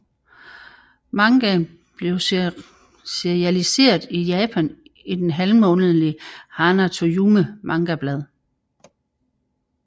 Mangaen blev serialiseret i Japan i det halvmånedlige Hana to Yume mangablad